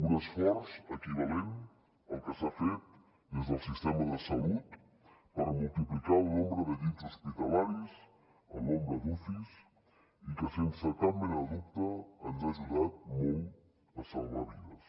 un esforç equivalent al que s’ha fet des del sistema de salut per multiplicar el nombre de llits hospitalaris el nombre d’ucis i que sense cap mena de dubte ens ha ajudat molt a salvar vides